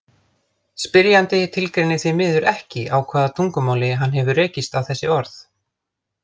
Spyrjandi tilgreinir því miður ekki á hvaða tungumáli hann hefur rekist á þessi orð.